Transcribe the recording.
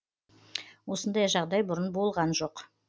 осындай жағдай бұрын болған жоқ